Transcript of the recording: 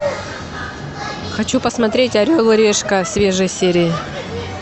хочу посмотреть орел и решка свежие серии